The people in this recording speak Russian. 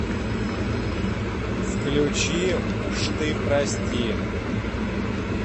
включи уж ты прости